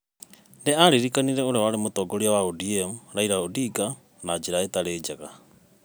Nĩ aririkanire ũrĩa mũtongoria wa ODM Raila Odinga, na njĩra ĩtarĩ njega,